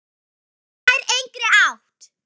Þetta nær engri átt.